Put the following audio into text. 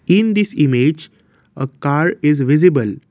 in this image a car is visible.